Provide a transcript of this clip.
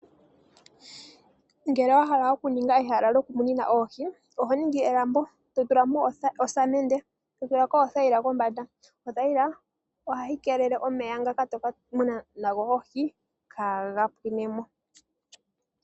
Ngele wa hala okuninga ehala lyokumuna oohi, oho ningi elambo, to tulamo osamende, to tulamo othayila kohi. Othayila oha yi keelele omeya ngoka to ka muna nago oohi, kaa ha ga pwinemo.